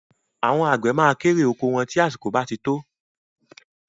Àwọn àgbẹ̀ ma kérè oko wọn tí àsìkò bá ti tó